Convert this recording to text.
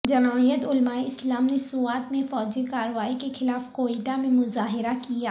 جمعیت علمائے اسلام نے سوات میں فوجی کارروائی کے خلاف کوئٹہ میں مظاہرہ کیا